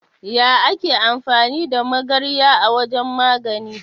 Ya ake amfani da magarya a wajan magani?